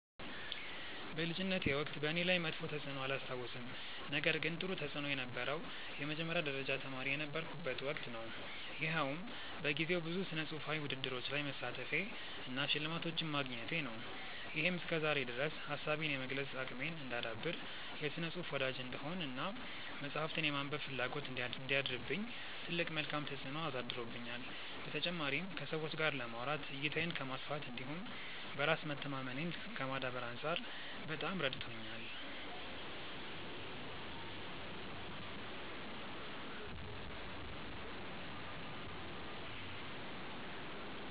በልጅነቴ ወቅት በእኔ ላይ መጥፎ ተፅዕኖ አላስታውስም ነገር ግን ጥሩ ተፅእኖ የነበረው የመጀመሪያ ደረጃ ተማሪ የነበርኩበት ወቅት ነው። ይኸውም በጊዜው ብዙ ስነፅሁፋዊ ውድድሮች ላይ መሳተፌ እና ሽልማቶችን ማግኘቴ ነው። ይሄም እስከዛሬ ድረስ ሀሳቤን የመግለፅ አቅሜን እንዳዳብር፣ የስነ ፅሁፍ ወዳጅ እንድሆን እና መፅሀፍትን የማንበብ ፍላጎት እንዲያድርብኝ ትልቅ መልካም ተፅዕኖ አሳድሮብኛል። በተጨማሪም ከሰዎች ጋር ለማውራት፣ እይታዬን ከማስፋት እንዲሁም በራስ መተማመኔን ከማዳበር አንፃር በጣም ረድቶኛል።